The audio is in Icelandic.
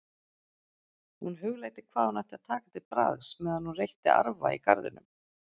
Hún hugleiddi hvað hún ætti að taka til bragðs meðan hún reytti arfa í garðinum.